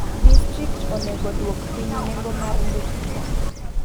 Distrikt onego duok piny nengo mar ndikruok.